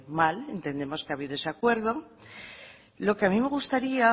mal entendemos que ha habido ese acuerdo lo que a mí me gustaría